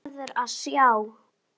Þú verður að sjá!